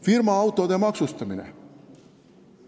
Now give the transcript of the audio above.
Firmaautode maksustamine.